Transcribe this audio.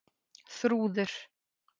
Þrúður